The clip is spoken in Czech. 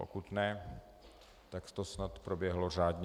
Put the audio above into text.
Pokud ne, tak to snad proběhlo řádně.